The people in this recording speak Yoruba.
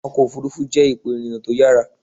Ọkọ̀ òfuurufú jẹ́ ipò ìrìnà tó yára.